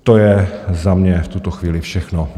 To je za mě v tuto chvíli všechno.